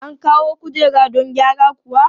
An kawo kujera don gyara kuwa?